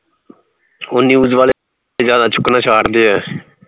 ਓਹ news ਵਾਲੇ ਜਿਆਦਾ ਚੁੱਕਣਾ ਚਾੜਦੇ